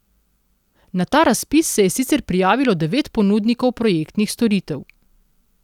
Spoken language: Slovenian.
Na ta razpis se je sicer prijavilo devet ponudnikov projektnih storitev.